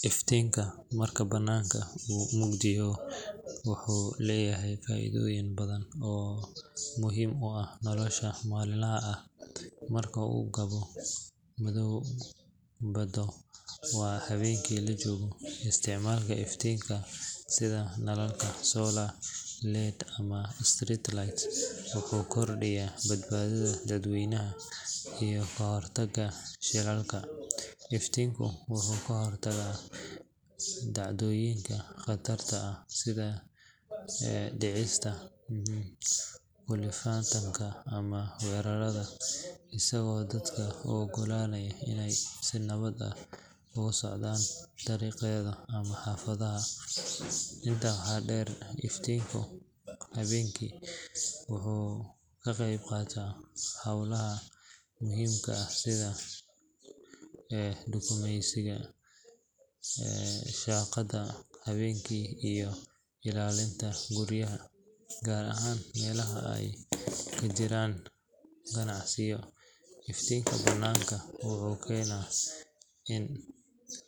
Iftiinka marka bannaanka uu mugdi yahay wuxuu leeyahay faa’iidooyin badan oo muhiim u ah nolosha maalinlaha ah. Marka uu gabo madoobaado ama habeenkii la joogo, isticmaalka iftiin sida nalalka solar, LED ama street lights wuxuu kordhiyaa badbaadada dadweynaha iyo ka hortagga shilalka. Iftiinku wuxuu ka hortagaa dhacdooyinka khatarta ah sida dhicista, kufitaanka ama weerarada, isagoo dadka u oggolaanaya inay si nabad ah ugu socdaan dariiqyada ama xaafadaha. Intaa waxaa dheer, iftiinka habeenkii wuxuu ka qeyb qaataa howlaha muhiimka ah sida dukaamaysiga, shaqada habeenkii iyo ilaalinta guryaha. Gaar ahaan meelaha ay ka jiraan ganacsiyo, iftiinka bannaanka wuxuu keenaa in